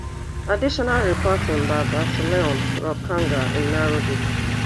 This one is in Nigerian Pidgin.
additional reporting by basillioh rukanga in nairobi